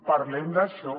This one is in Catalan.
parlem d’això